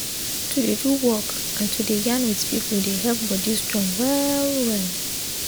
to dey do work and to dey yarn with people dey help body strong well well